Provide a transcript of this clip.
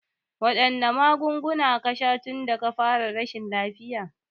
Waɗanne magunguna ka sha tunda ka fara rashin lafiya?